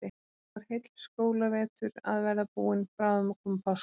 Nú er heill skólavetur að verða búinn, bráðum að koma páskar.